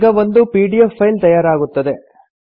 ಈಗ ಒಂದು PDF file ತಯಾರಾಗುತ್ತದೆ